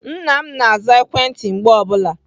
Nna m na-aza ekwentị mgbe ọ bụla.